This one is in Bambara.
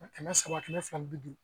Kɛmɛ saba kɛmɛ fila ni bi duuru